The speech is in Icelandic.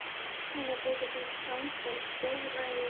Mér þykir þú standa í stórræðum frændi, sagði afi Stefán.